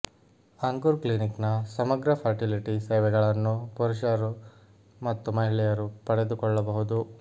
ಅಂಕುರ್ ಕ್ಲಿನಿಕ್ನ ಸಮಗ್ರ ಫರ್ಟಿಲಿಟಿ ಸೇವೆಗಳನ್ನು ಪುರುಷರು ಮತ್ತು ಮಹಿಳೆಯರು ಪಡೆದುಕೊಳ್ಳಬಹುದು